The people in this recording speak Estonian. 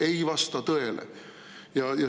Ei vasta tõele!